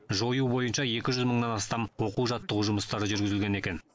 жою бойынша екі жүз мыңнан астам оқу жаттығу жұмысы жүргізілген екен